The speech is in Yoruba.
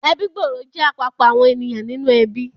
Ẹbí gbòòrò jẹ́ àpapọ̀ àwọn ènìyàn nínú ẹbí